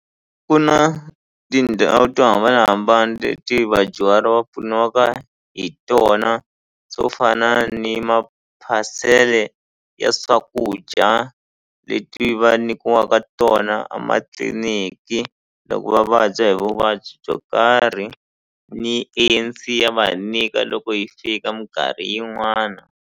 Ku na tindhawu to hambanahambana leti vadyuhari va pfuniwaka hi tona swo fana ni maphasele ya swakudya leti va nyikiwaka tona a matliliniki loko va vabya hi vuvabyi byo karhi ni A_N_C ya va nyika loko yi fika minkarhi yin'wana.